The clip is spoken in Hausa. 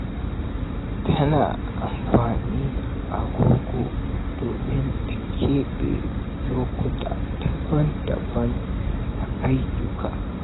Tana amfani da agogo domin ta keɓe lokuta daban-daban na ayyukanta.